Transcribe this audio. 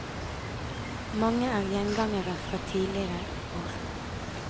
Mange er gjengangere fra tidligere år.